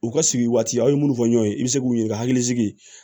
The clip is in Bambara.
U ka sigi waati a ye minnu fɔ ɲɔgɔn ye i bɛ se k'u ɲininka hakili sigi